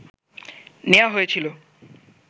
নেয়া হয়েছিল